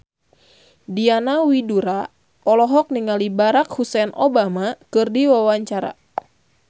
Diana Widoera olohok ningali Barack Hussein Obama keur diwawancara